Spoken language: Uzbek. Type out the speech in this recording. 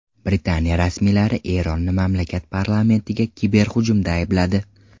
Britaniya rasmiylari Eronni mamlakat parlamentiga kiberhujumda aybladi.